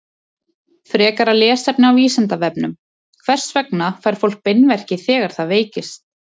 Frekara lesefni á Vísindavefnum: Hvers vegna fær fólk beinverki þegar það veikist?